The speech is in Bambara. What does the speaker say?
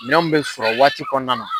Minɛw bɛ sɔrɔ waati kɔnɔna na.